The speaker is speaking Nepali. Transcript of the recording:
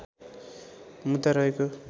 मुद्दा रहेको